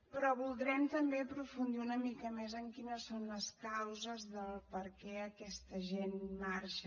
però voldrem també aprofundir una mica més en quines són les causes del per què aquesta gent marxa